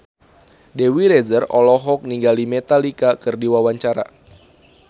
Dewi Rezer olohok ningali Metallica keur diwawancara